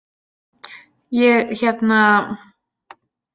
Ég hérna.